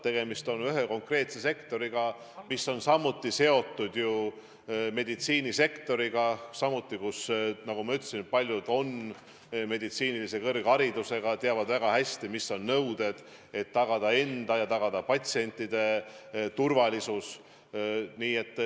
Tegemist on ühe konkreetse sektoriga, mis on seotud ju meditsiinisektoriga, kus samuti, nagu ma ütlesin, paljud töötajad on meditsiinilise kõrgharidusega, teavad väga hästi, mis on nõuded, et tagada enda ja patsientide turvalisus.